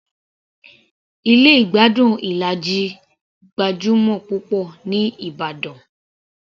Ilé ìgbádùn Ilaji gbajúmọ̀ púpọ̀ ní ìbàdàn